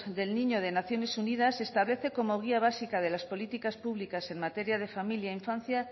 del niño de naciones unidas establece como guía básica de las políticas públicas en materia de familia e infancia